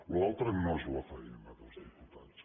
allò altre no és la faena dels diputats